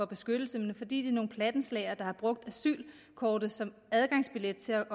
beskyttelse men fordi de er nogle plattenslagere der har brugt asylkortet som adgangsbillet til